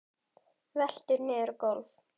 Veltur niður á gólf.